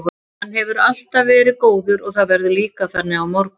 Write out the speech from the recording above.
Hann hefur alltaf verið góður og það verður líka þannig á morgun.